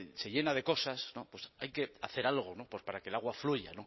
se llena de cosas no pues hay que hacer algo para que el agua fluya